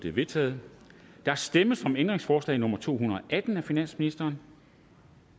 er vedtaget der stemmes om ændringsforslag nummer to hundrede og atten af finansministeren